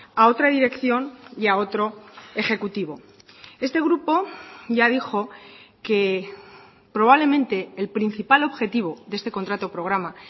a otra dirección y a otro ejecutivo este grupo ya dijo que probablemente el principal objetivo de este contrato programa